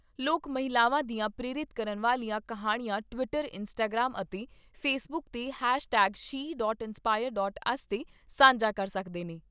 ਲੋਕ ਮਹਿਲਾਵਾਂ ਦੀਆਂ ਪ੍ਰੇਰਿਤ ਕਰਨ ਵਾਲੀਆਂ ਕਿਹਾਣੀਆਂ ਟਵੀਟਰ, ਇੰਸਟਾਗ੍ਰਾਮ ਅਤੇ ਫੇਸਬੁੱਕ 'ਤੇ hashtag she dot inspire dot us 'ਤੇ ਸਾਂਝਾ ਕਰ ਸਕਦੇ ਨੇ।